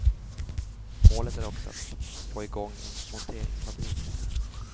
Målet är att också få i gång en monteringsfabrik.